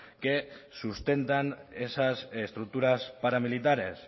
que sustentan esas estructuras paramilitares